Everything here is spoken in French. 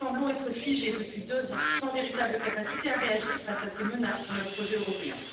Nous semblons être figés depuis deux ans, sans véritable capacité à réagir face à ces menaces pour notre projet européen.